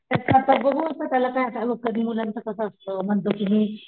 त्याच आता बघू त्याला काय आता बघ कधी मुलांच कस असत म्हणतो कि मी,